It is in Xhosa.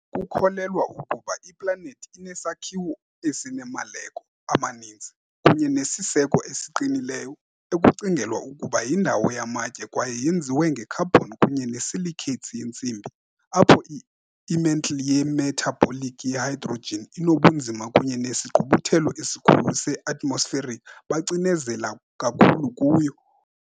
Kukholelwa ukuba iplanethi inesakhiwo esinemaleko amaninzi, kunye nesiseko esiqinileyo, ekucingelwa ukuba yindawo yamatye kwaye yenziwe nge -carbon kunye ne-silicates yentsimbi, apho i- mantle ye-metallic ye-hydrogen inobunzima kunye nesigqubuthelo esikhulu se-atmospheric bacinezela kakhulu kuyo.